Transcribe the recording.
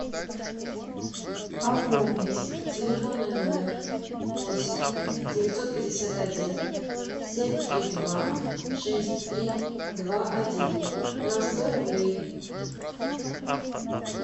пополнить телефонный номер восемь девятьсот пятьдесят один семь три два шесть три два один на сто рублей